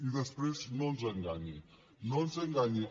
i després no ens enganyi no ens enganyi